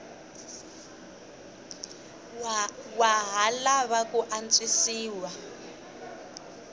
wa ha lava ku antswisiwa